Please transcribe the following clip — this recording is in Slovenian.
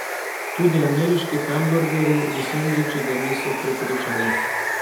Tudi ameriški hamburgerji in sendviči ga niso prepričali.